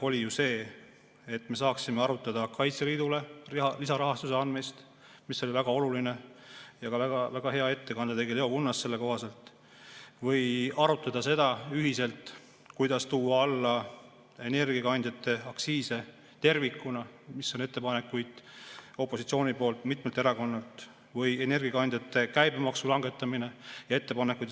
Eesmärk oli ju see, et me saaksime arutada Kaitseliidule lisarahastuse andmist, mis oli väga oluline, ja väga hea ettekande tegi Leo Kunnas selle kohta, või saaksime arutada ühiselt seda, kuidas tuua alla energiakandjate aktsiise tervikuna, mille kohta on ettepanekuid opositsioonil, mitmel erakonnal, või energiakandjate käibemaksu langetamise ettepanekuid.